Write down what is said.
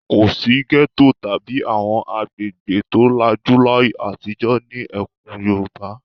Kò sí gẹ́tò tàbí àwọn agbègbè tó lajú láyé àtijó ní ẹkùn Yorùbá.